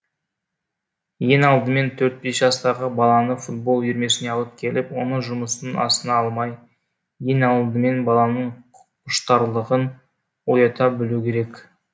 ең алдымен төрт бес жастағы баланы футбол үйірмесіне алып келіп оны жұмыстың астына алмай ең алдымен баланың құштарлығын оята білу керек